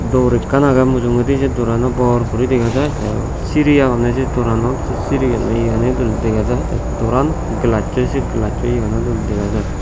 dor ekkan agey mujungedi ei se dorano bor gori dega jai te siri agonne se doranot se siri gani iyaniyo dega jai te doran se gelacchoi se gelacchoi yano dega jai.